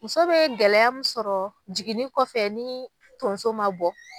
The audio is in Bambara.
Muso bɛ gɛlɛya min sɔrɔ jiginni kɔfɛ ni tonso ma bɔ